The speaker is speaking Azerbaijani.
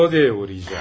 Rodyaya uğrayacağım.